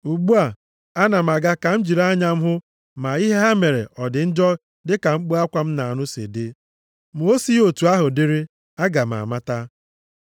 Ugbu a, ana m aga ka m jiri anya m hụ ma ihe ha mere ọ dị njọ dịka mkpu akwa m na-anụ si dị. Ma o sighị otu ahụ dịrị, aga m amata.”